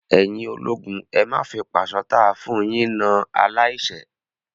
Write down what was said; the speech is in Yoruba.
Ẹ̀yin ológun, ẹ má fi pàṣán táa fún un yín na aláìṣẹ̀!